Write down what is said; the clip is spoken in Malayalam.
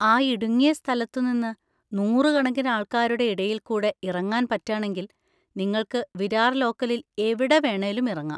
ആ ഇടുങ്ങിയ സ്ഥലത്തുനിന്ന് നൂറുകണക്കിന് ആൾക്കാരുടെ ഇടയിൽക്കൂടെ ഇറങ്ങാൻ പറ്റാണെങ്കിൽ നിങ്ങൾക്ക് വിരാർ ലോക്കലിൽ എവിടെ വേണേലും ഇറങ്ങാം.